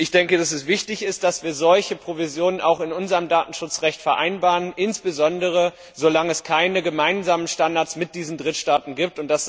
Ich denke, dass es wichtig ist, dass wir solche Bestimmungen auch in unserem Datenschutzrecht vereinbaren, insbesondere solange es keine gemeinsamen Standards mit diesen Drittstaaten gibt.